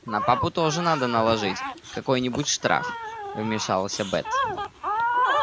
на папу тоже надо наложить какой нибудь штраф вмешаласься бэт